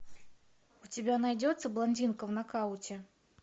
у тебя найдется блондинка в нокауте